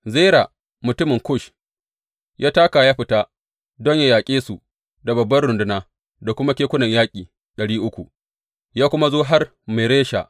Zera mutumin Kush ya taka ya fita don yă yaƙe su da babban runduna da kuma kekunan yaƙi ɗari uku, ya kuma zo har Maresha.